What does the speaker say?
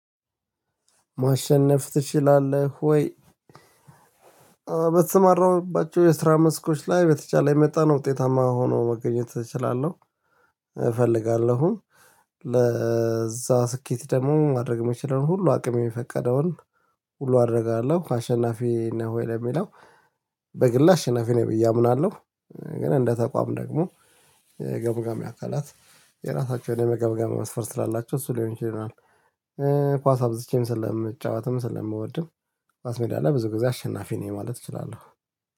ማሸነፍ ትችላለህ ወይ? በተሰማራሁባቸው የስራ መስኮች ላይ በተቻለኝ መጠን ውጤታማ ሆኖ መገኘት እችላለሁ እፈልጋለሁም። ለዛ ስኬት ደግሞ ማድረግ የምችለውን ሁሉ አቅም የፈቀደውን ሁሉ አደርጋለሁ አሸናፊ ነው። ለሚለው በግል አሸናፊ ነኝ ብዬ አምናለሁ። ግን እንደ ተቋም ደግሞ ገምጋሚ አካላት የራሳቸው የሆነ የመገምገም መስፈርት ስላላቸው እሱ ሊሆን ይችላል። ኳስ አብዝቼም ስለምጫወትም ስለምወድም ኳስ ሜዳ ላይ ብዙ ጊዜ አሸናፊ ነኝ ማለት እችላለሁ